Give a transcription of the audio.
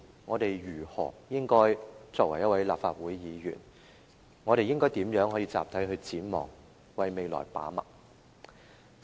我們作為立法會議員，應該如何集體展望，為未來把脈？